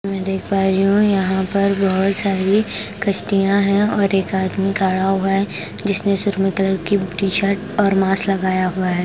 मैं देख पा रही हूं यहां पर बहुत सारी किश्तियां हैं और एक आदमी खड़ा हुआ है जिसने सुरमे कलर की टी शर्ट और मास्क लगाया हुआ है।